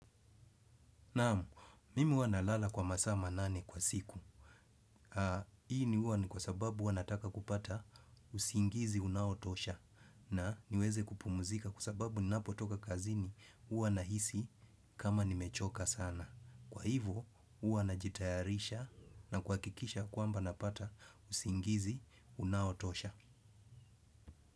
Naam, mimi huwa nalala kwa masaa manane kwa siku. Hii ni huwa ni kwa sababu huwa nataka kupata usingizi unaotosha. Na niweze kupumuzika kwa sababu ninapotoka kazini huwa nahisi kama nimechoka sana. Kwa hivyo, huwa najitayarisha na kuhakikisha kwamba napata usingizi unaotosha.